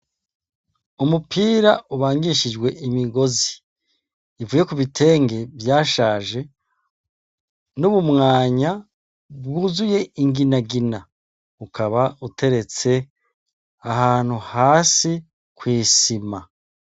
Umupira ubangishijwe imigozi ivuye ku bitenge vyashaje n'ubumwanya bwuzuye inginagina, ukaba uteretse ahantu hasi kwisima.